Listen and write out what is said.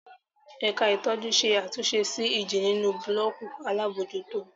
Ẹ̀ka ìtọ́jú ṣe àtúnṣe sí ìjì nínú búlọ́ọ̀kù alábòójútó.